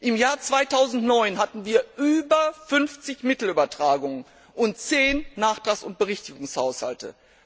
Im Jahr 2009 hatten wir über 50 Mittelübertragungen und 10 Nachtrags und Berichtigungshaushalte.